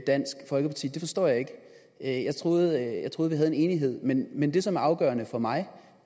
dansk folkeparti det forstår jeg ikke jeg troede at vi har en enighed men men det som er afgørende for mig